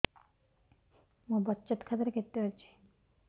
ମୋ ବଚତ ଖାତା ରେ କେତେ ଅଛି